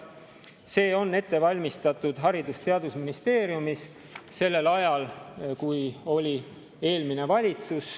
See on ette valmistatud Haridus‑ ja Teadusministeeriumis sellel ajal, kui oli eelmine valitsus.